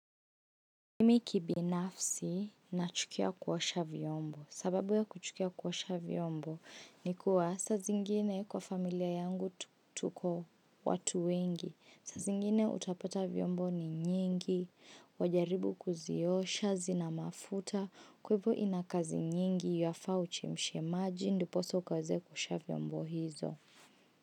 Mimi kibinafsi na chukia kuoasha vyombo. Sababu ya kuchukia kuoasha vyombo ni kua saa zingine kwa familia yangu tuko watu wengi. Saa zingine utapota vyombo ni nyingi, wajaribu kuziosha, zina mafuta, kwahiyvo inakazi nyingi, inafaa uchemshe maji, ndiposa ukaweze kuosha vyombo hizo.